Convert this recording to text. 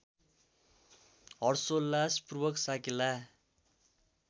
हर्षोल्लासपूर्वक साकेला